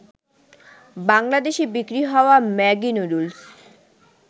বাংলাদেশে বিক্রি হওয়া ম্যাগি নুডুলস